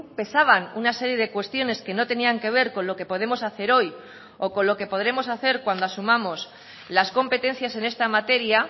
pesaban una serie de cuestiones que no tenían que ver con lo que podemos hacer hoy o con lo que podremos hacer cuando asumamos las competencias en esta materia